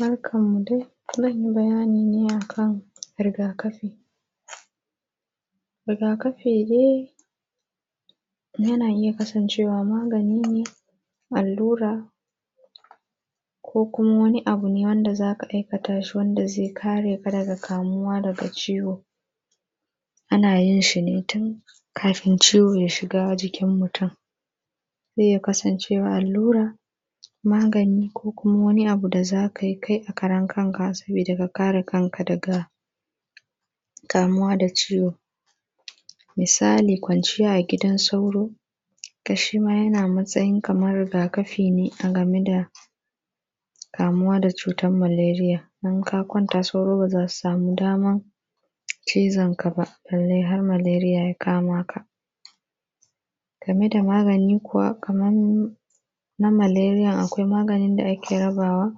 Barkanmu dai. Zan yi bayani ne a kan rigakafi. Rigakafi dai, yana iya kasancewa magani ne, allura, ko kuma wani abu ne wanda za ka aikata shi wanda zai kare ka daga kamuwa daga ciwo. Ana yin shi ne tun kafin ciwo ya shiga jikin mutum. Zai iya kasancewa alllura, magani, ko kuma wani abu da za ka yi kai a karan kanka sabida ka kare kanka daga kamuwa da ciwo. Misali, kwanciya a gidan sauro, to, shi ma yana matsayin kamar rigakafi ne a game da kamuwa da cutan maleriya in ka kwanta sauro ba za su samu damar cizon ka ba, balle har maleriya ya kama ka. Game da magani kuwa, kaman na maleriyan akwai maganin da ake rabawa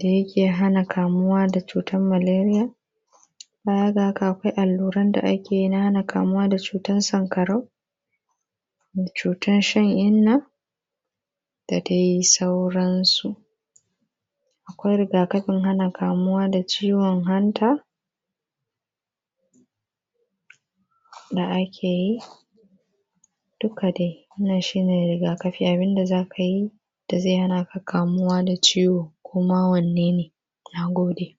da yake hana kamuwa da cutan maleriyan. Baya ga haka, akwai alluran da ake yi na hana kamuwa da cutan sankarau, cutan shan-inna, da dai sauransu. Akwai rigakafin hana kamuwa da ciwon hanta, da ake yi, duka daI, nan shi ne rigakafi abin da za ka yi, da zai hana ka kamuwa da ciwo ko ma wanne ne. Na gode.